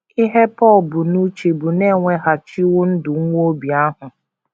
Ihe Pọl bu n’uche bụ na e weghachiwo ndụ nwa Obi ahụ.